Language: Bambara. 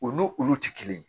U n'u olu tɛ kelen ye